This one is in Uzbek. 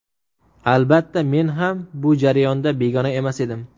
Albatta, men ham bu jarayonda begona emas edim.